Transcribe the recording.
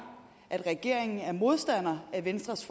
regeringen modstander af venstres